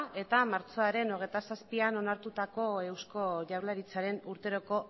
eta martxoaren hogeita zazpian onartutako eusko jaurlaritzaren urteroko